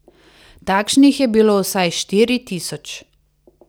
Takšnih je bilo vsaj štiri tisoč.